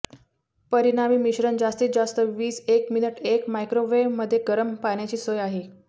परिणामी मिश्रण जास्तीत जास्त वीज एक मिनिट एक मायक्रोवेव्ह मध्ये गरम पाण्याची सोय आहे